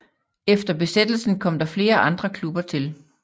Efter Besættelsen kom der flere andre klubber til